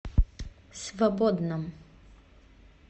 свободном